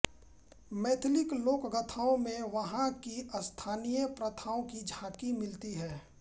मैथिली लोकगाथाओं में वहाँ की स्थानीय प्रथाओं की झाँकी मिलती है